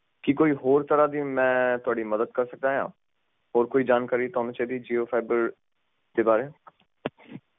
ਕੀ ਕੋਈ ਹੋਰ ਤਰਾਹ ਦੀ ਮੈਂ ਤੁਹਾਡੀ ਮੱਦਦ ਕਰ ਸਕਦਾ ਆ ਹੋਰ ਕੋਈ ਜਾਣਕਾਰੀ ਤੁਹਾਨੂੰ ਚਾਹੀਦੀ ਜੀਓ ਫਾਈਬਰ ਦੇ ਬਾਰੇ